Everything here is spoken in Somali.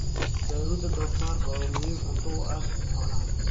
Baaruudda doofaarka waa muhiim cunto u ah xoolaha.